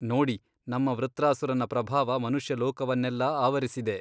ನೋಡಿ ನಮ್ಮ ವೃತ್ರಾಸುರನ ಪ್ರಭಾವ ಮನುಷ್ಯ ಲೋಕವನ್ನೆಲ್ಲಾ ಆವರಿಸಿದೆ.